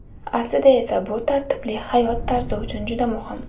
Aslida esa bu tartibli hayot tarzi uchun juda muhim.